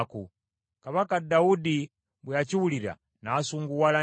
Kabaka Dawudi bwe yakiwulira, n’asunguwala nnyo.